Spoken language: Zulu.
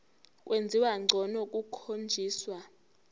kwenziwa ngcono kukhonjiswa